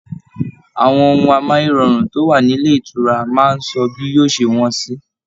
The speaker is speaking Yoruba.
Àwọn ohùn amáyérọrùn to wa nílé ìtura máa n sọ bí yóò ṣe wọn sì.